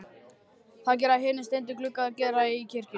Það gera hinir steindu gluggar Gerðar í kirkjunni líka.